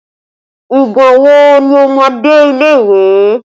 Ìgbà wo ni ó máa dé ilé ìwé